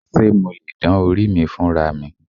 Ṣé mo lè dán orí mi fúnra mi?